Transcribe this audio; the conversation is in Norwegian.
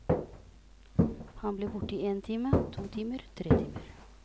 Han ble borte én time, to timer, tre timer.